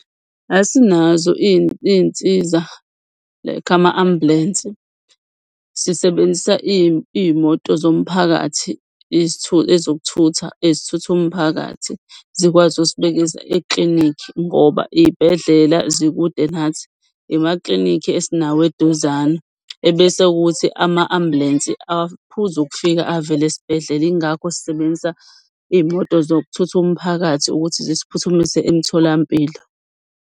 Asinazo iy'nsiza like ama-ambulensi. Sisebenzisa iy'moto zomphakathi ezokuthutha ezithutha umphakathi zikwazi eklinikhi ngoba iy'bhedlela zikude nathi. Imaklinikhi esinawo eduzane. Ebese ukuthi ama-ambulensi aphuze ukufika avele esibhedlela. Ingakho sisebenzisa iy'moto zokuthutha umphakathi ukuthi zisiphuthumise emtholampilo.